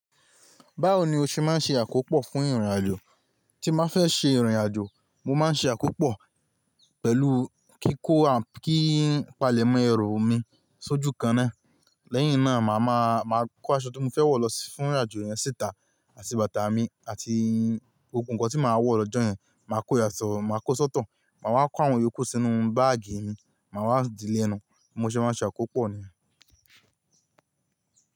Báwo ni o ṣe má ń ṣe àkópọ̀ fún ìrìn-àjò? Tí n bá fẹ́ ṣe ìrìn-àjò, mo má ń ṣe àkópọ̀ pẹ̀lú kíkó kí n palẹ̀mọ́ ẹrù mi sójú kan náà. Lẹ́yìn náà, màá máa, màá kó aṣọ tí mo fẹ́ wọ̀ lọ fún ìrìn-àjò yẹn síta, àti bàtà mi, àti gbogbo nǹkan tí màá wọ̀ lọ́jọ́ yẹn. Màá ko yàtọ̀, màá ko sọ́tọ̀, màá wá kó àwọn yòókù sínu báàgì mi, màá wá dì í lẹ́nu. Bí mo ṣe má ń ṣe àkópọ̀ nìyẹn.